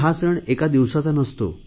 हा सण एका दिवसाचा नसतो